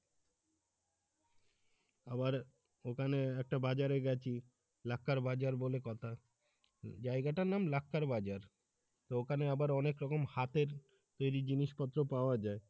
আবার ওখানে একটা বাজারে গেছি লাকতার বাজার বলে কথা জায়গাটার নাম লাকতার বাজার তো এখানে আবার অনেক রকম হাতের তৈরি জিনিসপত্র পাওয়া যায়।